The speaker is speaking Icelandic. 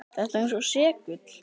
Þetta er eins og segull.